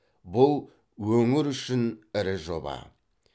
бұл өңір үшін ірі жоба